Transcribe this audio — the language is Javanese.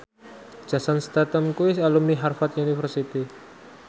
Jason Statham kuwi alumni Harvard university